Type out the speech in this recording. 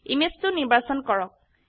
image 2 নিৰ্বাচন কৰক